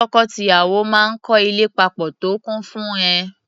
Tọkọ-tìyàwó máa ń kọ́ ilé papọ̀ tó kún fún ìẹ́.